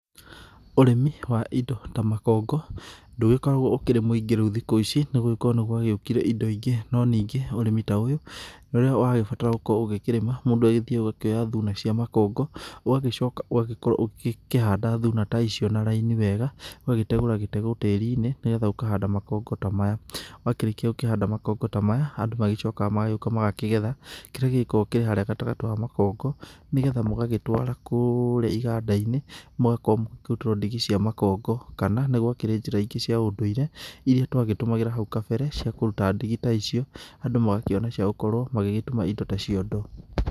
Ũrĩmi wa indo ta makongo ndũgĩkoragwo ũkĩrĩ mũingĩ rĩu thikũ ici nĩ gũgĩkorwo nĩ gwagĩũkire indo ingĩ. No ningĩ ũrĩmi ta ũyũ rĩrĩa wagĩbatara gũkorwo ũkĩrĩma, mũndũ agĩthiaga agakĩoya thuna cia makongo. Ũgagĩcoka ũgagĩkorwo ũkĩhanda thuna ta icio na raini wega ũgagĩtegũra gĩtegũ tĩri-inĩ nĩ getha ũkahanda makongo ta maya. Wakĩrĩkia gũkĩhanda makongo ta maya andũ magĩcokaga magagĩũka magakĩgetha kĩrĩa gĩgĩkoragwo kĩharĩa gatagatĩ ka makongo, nĩ getha mũgagĩtwara kũria iganda-inĩ mũgakorwo mũkĩrutĩrwo ndigi cia makongo. Kana nĩ gwakĩrĩnjĩra ingĩ cia ũndũire iria twagĩtũmagĩra hau kabere ciakũ kũruta ndigi ta icio andũ magakĩona ciagũkorwo magĩgĩtuma indo ta ciondo.